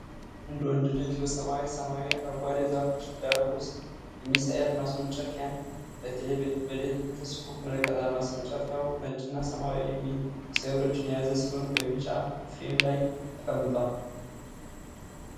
አንድ ወንድ ልጅ በሰማያዊ ሰማይና አረንጓዴ ዛፎች ዳራ ውስጥ የሚሳኤል ማስወንጨፊያን በቴሌስኮፕ ይመለከታል። ማስወንጨፊያው ነጭና ሰማያዊ ሚሳኤሎችን የያዘ ሲሆን፣ በቢጫ ፍሬም ላይ ተቀምጧል።